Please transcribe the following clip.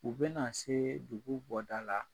U bɛna na se dugu bɔda la